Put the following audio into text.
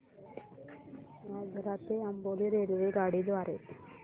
आजरा ते अंबोली रेल्वेगाडी द्वारे